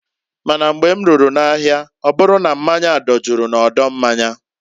Ma na mgbe m ruru na ahịa ọbụru na mmanya dojuru na odo mmanya.